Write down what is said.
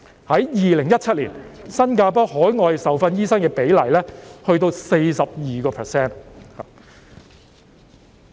在2017年，新加坡的海外受訓醫生比例高達 42%。